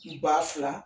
Ba fila